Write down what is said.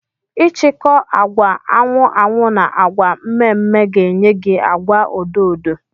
ichikọ agwa anwu anwụ na agwa mme mme ga enye gi agwa odo odo